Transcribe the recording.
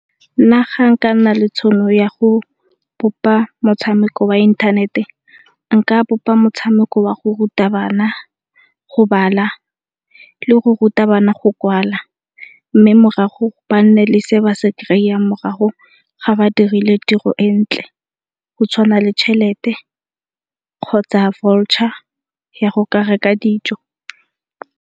Nna ga nka nna le tšhono ya go bopa motshameko wa inthanete nka bopa motshameko wa go ruta bana go bala le go ruta bana go kwala, mme morago ba nne le se ba se kry-ang morago ga ba dirile tiro e ntle go tshwana le tšhelete kgotsa voucher ya go ka reka dijo.